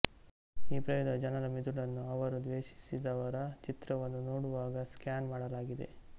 ಈ ಪ್ರಯೋಗದಲ್ಲಿ ಜನರ ಮಿದುಳನ್ನು ಅವರು ದ್ವೇಷಿಸಿದವರ ಚಿತ್ರವನ್ನು ನೋಡುವಾಗ ಸ್ಕ್ಯಾನ್ ಮಾಡಲಾಗಿದೆ